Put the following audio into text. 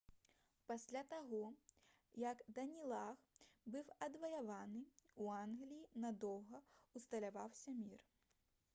пасля таго як данелаг был адваяваны у англіі надоўга ўсталяваўся мір